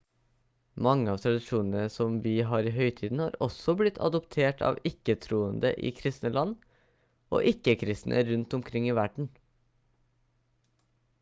mange av tradisjonene som vi har i høytiden har også blitt adoptert av ikke-troende i kristne land og ikke-kristne rundt omkring i verden